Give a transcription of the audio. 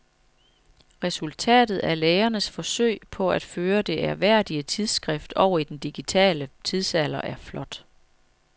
Resultatet af lægernes forsøg på at føre det ærværdige tidsskrift over i den digitale tidsalder er flot.